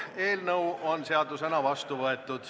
Eelnõu 74 on seadusena vastu võetud.